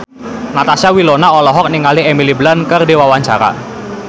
Natasha Wilona olohok ningali Emily Blunt keur diwawancara